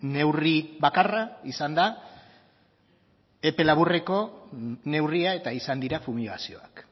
neurri bakarra izan da epe laburreko neurria eta izan dira fumigazioak